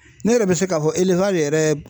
Ne yɛrɛ bɛ se k'a fɔ yɛrɛ